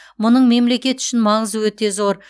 мұның мемлекет үшін маңызы өте зор